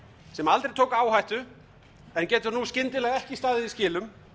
sem aldrei tók áhættu en getur nú skyndilega ekki staðið í skilum